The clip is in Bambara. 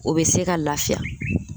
O bɛ se ka lafiya